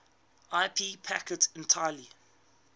ip packets entirely